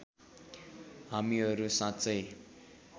हामीहरू साँच्चै